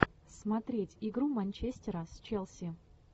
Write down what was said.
смотреть игру манчестера с челси